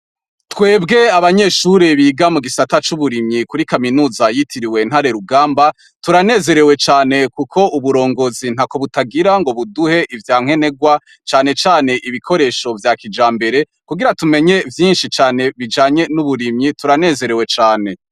Twebwe abanyeshuri biga mu gisata c'uburimyi kuri kaminuza yitiriwe Ntare rugamba turanezerewe cane kuko uburongozi ntako butagira ngo buduhe ivya nkenegwa cane cane ibikoresho vya kijambere kugira tumenye vyinshi cane bijanye n'uburimyi turanezerewe cane.